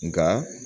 Nka